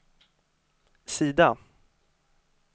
sida